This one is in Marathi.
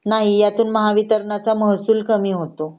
नाही ह्यातून महावितरणचा महसूल कमी होतो